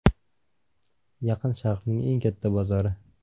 Yaqin Sharqning eng katta bozori.